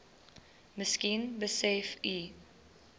miskien besef u